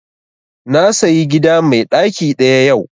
Na sayi gida mai ɗaki ɗaya yau